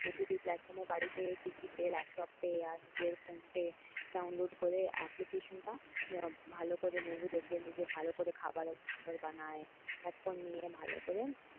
OTT প্লাটফর্মে বাড়িতে TV তে ল্যাপটপে আর নিজের ফোনতে ডাউনলোড করে application টা আহ ভালো করে movie দেখে নিজে ভাল করেখাবার দাবার বানায় পপকর্ন নিয়ে ভালো করে,